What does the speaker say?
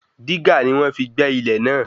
Dígà ni wọ́n fi gbẹ́ ilẹ̀ náà